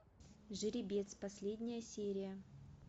жеребец последняя серия